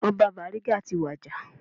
Ọba Bariga wa ti wàjà